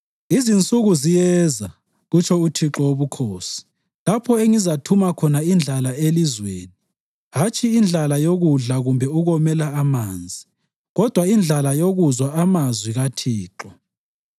Insuku ziyeza, kutsho uThixo Wobukhosi, lapho engizathumela khona indlala elizweni hatshi indlala yokudla kumbe ukomela amanzi, kodwa indlala yokuzwa amazwi kaThixo.